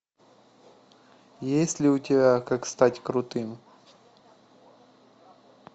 есть ли у тебя как стать крутым